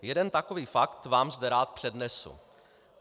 Jeden takový fakt vám zde rád přednesu.